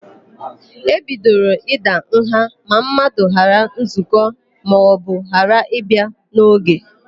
E bidoro ịda nha ma mmadụ ghaa nzụkọ maọbụ ghara ịbịa n'oge.